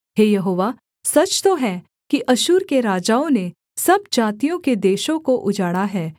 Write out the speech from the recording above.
हे यहोवा सच तो है कि अश्शूर के राजाओं ने सब जातियों के देशों को उजाड़ा है